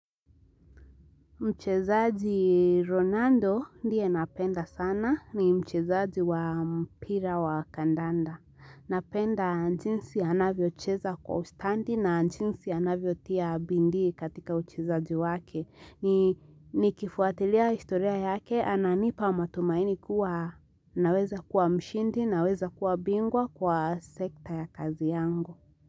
Mchezaji Ronando ndiye napenda sana ni mchezaji wa mpira wa kandanda. Napenda njinsi anavyocheza kwa ustandi na njinsi anavyo tia bindii katika uchezaji wake. Nikifuatilia historia yake ananipa matumaini kuwa naweza kuwa mshindi naweza kuwa bingwa kwa sekta ya kazi yangu.